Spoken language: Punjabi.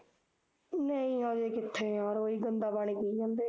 ਨਹੀਂ ਹਜੇ ਕਿੱਥੇ ਯਾਰ, ਓਹੀ ਗੰਦਾ ਪਾਣੀ ਪੀਈ ਜਾਂਦੇ